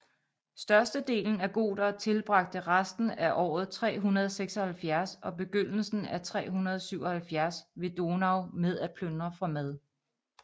Størstedelen af gotere tilbragte resten af året 376 og begyndelsen af 377 ved Donau med at plyndre for mad